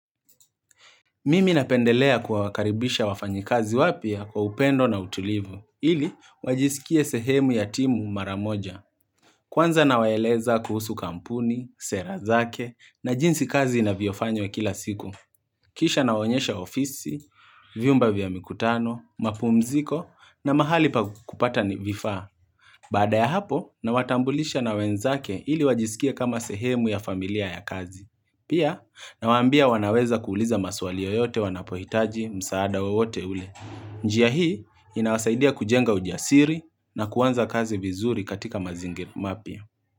Mimi napendelea kuwa wakaribisha wafanyi kazi wapya kwa upendo na utulivu, ili wajisikie sehemu ya timu mara moja. Kwanza nawaeleza kuhusu kampuni, sera zake, na jinsi kazi inavyofanywa kila siku. Kisha na onyesha ofisi, vyumba vya mikutano, mapumziko, na mahali pa kupata ni vifaa. Baada ya hapo, na watambulisha na wenzake ili wajisikie kama sehemu ya familia ya kazi. Pia, nawa ambia wanaweza kuuliza maswali yoyote wanapohitaji msaada wowote ule. Njia hii, inawasaidia kujenga ujiasiri na kuanza kazi vizuri katika mazingi mapya.